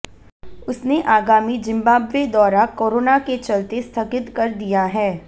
उसने आगामी जिम्बाब्वे दौरा कोरोना के चलते स्थगित कर दिया है